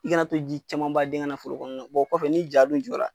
I ka na to ji caman ba den ka na foro kɔnɔ o kɔfɛ ni ja dun jɔ la